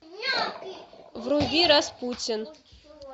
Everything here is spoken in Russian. вруби распутин